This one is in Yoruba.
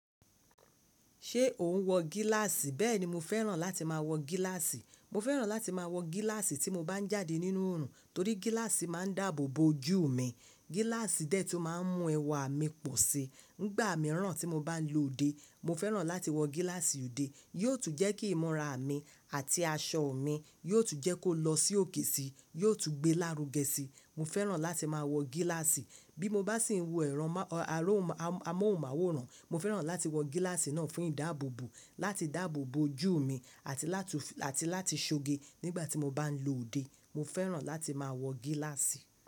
Ṣé o n wọ gíláàsì? Bẹ́ẹ̀ni mo fẹ́ràn láti máa wọ gíláàsì. Mo fẹ́ràn láti máa wọ gíláàsì tí mo bá ń jáde nínú òrùn, torí gíláàsì máa ń dáàbò bo ojú mi. Gíláàsì dẹ́ẹ̀ tí ó máa ń mú ẹwà mi pọ̀ si. Nígbà mìíràn tí mo bá ń lo òde, mo fẹ́ràn láti wọ gíláàsì òde. Yóò tún jẹ́ kí ìmúra mi àti aṣọ mi, yóò tún jẹ́ kó lọ sí òkè si, yóò tún gbé lárugẹ sí. Mo fẹ́ràn láti máa wọ gíláàsì. Bí mo bá sì ń wo ẹ̀rọ amóhùnmáwòrán, mo fẹ́ràn láti wọ gíláàsì náà fún ìdáàbòbò, láti dáàbò bo ojú mi àti láti ṣoge nígbà tí mo bá ń lo òde. Mo fẹ́ràn láti máa wọ gíláàsì.